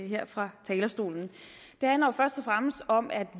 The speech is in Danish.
her fra talerstolen det handler først og fremmest om at